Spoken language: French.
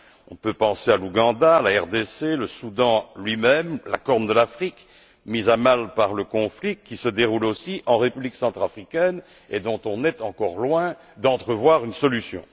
On peut penser à l'Ouganda, à la République démocratique du Congo, au Soudan lui même et à la corne de l'Afrique, mise à mal par le conflit qui se déroule aussi en République centrafricaine et dont on est encore loin d'entrevoir une solution.